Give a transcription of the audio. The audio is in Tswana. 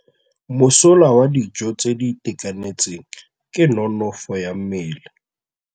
Mosola wa dijô tse di itekanetseng ke nonôfô ya mmele.